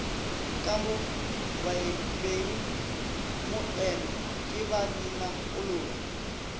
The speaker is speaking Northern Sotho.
ka mo bengmoeno ke babinakolobe